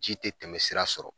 Ji tɛ tɛmɛ sira sɔrɔ.